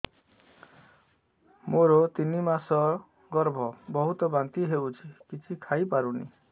ମୋର ତିନି ମାସ ଗର୍ଭ ବହୁତ ବାନ୍ତି ହେଉଛି କିଛି ଖାଇ ପାରୁନି